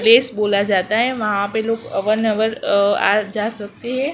Place बोला जाता है वहां पे लोग आ जा सकते हैं।